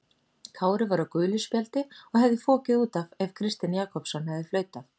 Kári var á gulu spjaldi og hefði fokið út af ef Kristinn Jakobsson hefði flautað.